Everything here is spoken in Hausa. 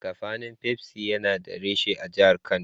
Kafanin Pepsi yana da reshe a jahar Kano.